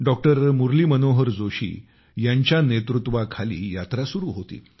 doctor Murli Manohar Joshi यांच्या नेतृत्वाखाली यात्रा सुरू होती